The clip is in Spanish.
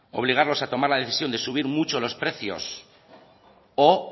obligarlos a tomar la decisión de subir mucho los precios o